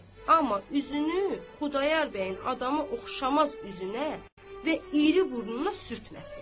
amma üzünü Xudayar bəyin adamı oxşamaz üzünə və iri burnuna sürtməsin.